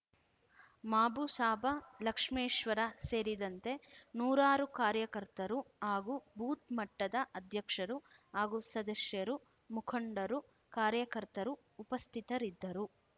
ಮಾಬುಸಾಬ ಲಕ್ಷ್ಮೇಶ್ವರ ಸೇರಿದಂತೆ ನೂರಾರು ಕಾರ್ಯಕರ್ತರು ಹಾಗೂ ಬೂತ್ ಮಟ್ಟದ ಅಧ್ಯಕ್ಷರು ಹಾಗೂ ಸದಸ್ಯರು ಮುಖಂಡರು ಕಾರ್ಯಕರ್ತರು ಉಪಸ್ಥಿತರಿದ್ದರು